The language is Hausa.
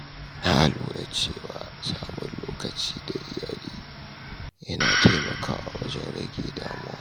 Na lura cewa samun lokaci tare da iyali yana taimakawa wajen rage damuwa.